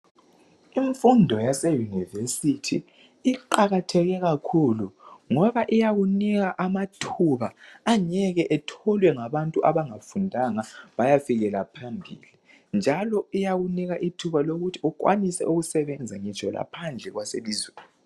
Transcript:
Imfundo yase yunivesithi iqakatheke kakhulu ngoba iyakunika amathuba .Angeke etholwe ngabantu abangafundanga bayafika phambili. Njalo iyakunika ithuba lokuthi ukhwanise ukusebenza ngitsho laphandle kwelizwe.